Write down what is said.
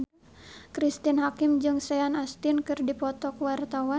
Cristine Hakim jeung Sean Astin keur dipoto ku wartawan